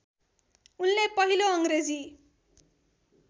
उनको पहिलो अङ्ग्रेजी